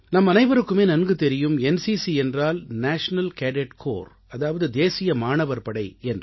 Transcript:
நம்மனைவருக்குமே நன்கு தெரியும் என்சிசி என்றால் நேஷனல் கேடட் கார்ப்ஸ் அதாவது தேசிய மாணவர் படை என்று